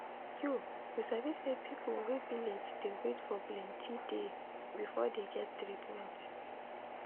you you sabi say people wey village dey wait for plenti day before dey get treatment.